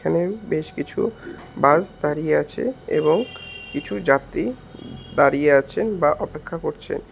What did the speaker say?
এখানে বেশ কিছু বাস দাঁড়িয়ে আছে এবং কিছু যাত্রী দাঁড়িয়ে আছেন বা অপেক্ষা করছেন।